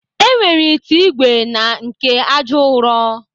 E nwere ite ìgwè na nke àjà ụrọ.